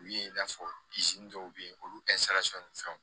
U ye i n'a fɔ dɔw bɛ yen olu ni fɛnw